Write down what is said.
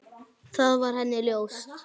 Það var henni ljóst.